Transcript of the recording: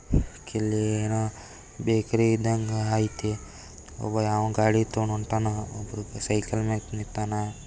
K ಇಲ್ ಏನೋ bakery ಇದ್ದಂಗ ಐತಿ. ಒಬ್ಬ ಯಾವನೋ ಗಾಡಿ ತಗೊಂಡ್ ಹೊಂಟಾನ ಒಬ್ರು ಸೈಕಲ್ ಮ್ಯಾಗ್ ನಿಂತಾನ.